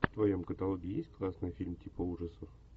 в твоем каталоге есть классный фильм типа ужасов